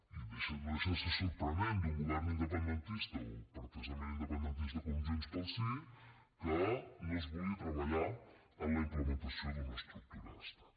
i no deixa de ser sorprenent d’un govern independentista o pretesament independentista com el de junts pel sí que no es vulgui treballar en la implementació d’una estructura d’estat